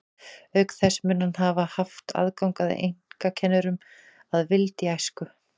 Auk þess mun hann hafa haft aðgang að einkakennurum að vild í æsku.